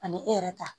Ani e yɛrɛ ta